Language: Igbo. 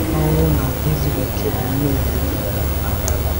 Ọ́nwụ̀ na èzùghị òkè bụ mmèhie e kètara n'aka Adam.